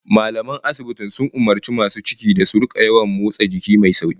Mallaman asibitin sun umurci masu cikin da su rika yawan motsa jiki mai sauki